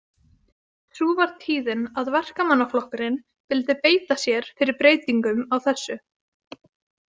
Sú var tíðin að Verkamannaflokkurinn vildi beita sér fyrir breytingum á þessu.